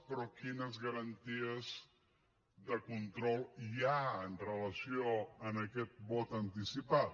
però quines garanties de control hi ha amb relació a aquest vot anticipat